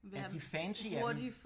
Ja de fancy af dem